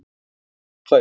Hann var rifinn á fætur.